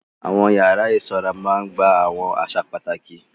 Àwọn yàrá ìsanra máa ń gba àwọn àṣà pàtàkì.